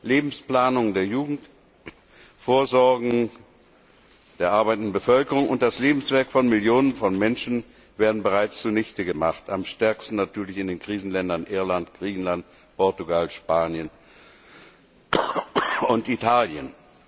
Lebensplanung der Jugend, Vorsorgen der arbeitenden Bevölkerung und das Lebenswerk von Millionen von Menschen werden bereits zunichte gemacht, am stärksten natürlich in den Krisenländern Irland, Griechenland, Portugal, Spanien und Italien.